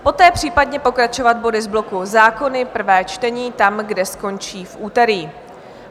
Poté případně pokračovat body z bloku Zákony, prvé čtení, tam, kde skončí v úterý.